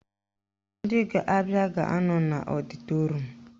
Ndị ga-abịa ga-anọ n'ọdịtorum